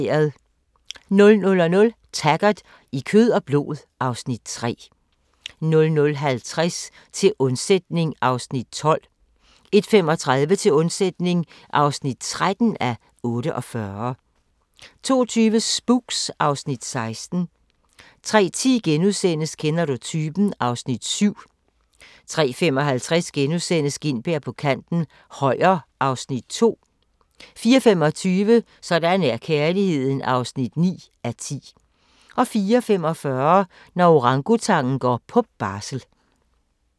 00:00: Taggart: I kød og blod (Afs. 3) 00:50: Til undsætning (12:48) 01:35: Til undsætning (13:48) 02:20: Spooks (Afs. 16) 03:10: Kender du typen? (Afs. 7)* 03:55: Gintberg på kanten - Højer (Afs. 2)* 04:25: Sådan er kærligheden (9:10) 04:45: Når orangutangen går på barsel